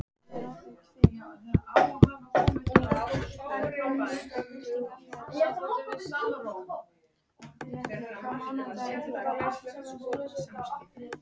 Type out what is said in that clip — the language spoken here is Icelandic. Guðmunda, kanntu að spila lagið „Ábyggilega“?